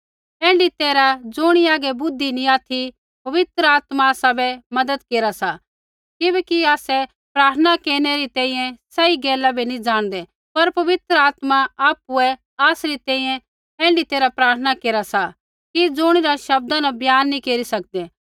ऐण्ढी तैरहै ज़ुणी हागै बुद्धि नैंई ऑथि पवित्र आत्मा आसाबै मज़त केरा सा किबैकि आसै प्रार्थना केरनै री तैंईंयैं सही गैला बै नैंई जाणदै पर पवित्र आत्मा आपुऐ आसरी तैंईंयैं ऐण्ढी तैरहा प्रार्थना केरा सा कि ज़ुणिरा शब्दा न बयान नैंई केरी सकदै